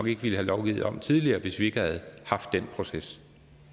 ikke ville have lovgivet om tidligere hvis ikke vi havde haft den proces